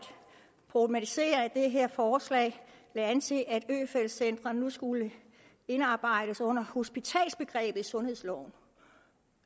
problematisere at det her forslag lagde an til at øfeldt centrene nu skulle indarbejdes under hospitalsbegrebet i sundhedsloven